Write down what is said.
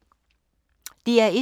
DR1